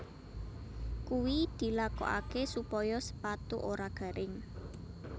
Kuwi dilakokaké supaya sepatu ora garing